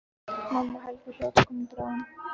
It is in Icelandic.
Mamma og Helgi hljóta að koma bráðum.